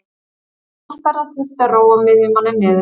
Hallbera þurfti að róa miðjumanninn niður.